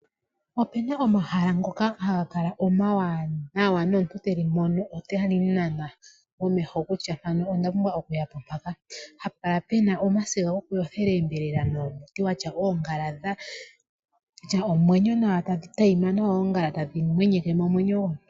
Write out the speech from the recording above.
Opena omahala ngoka haga kala omawanawa, nomuntu teli mono otali munana omeho kutya mpano ondapumbwa okuya po mpaka. Hapu kala pena omasiga gokuyothela oonyama nuumuti watya oongala dhatya omwenyo nawa tadhi tayima nawa.